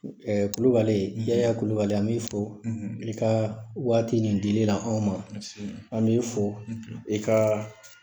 Kulubali yaya kulubali an b'i fɔ, i ka waati nin dili la anw ma an b'i fo i ka